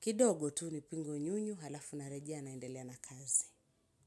Kidogo tu, nipingu nyunyu, halafu narejea naendelea na kazi.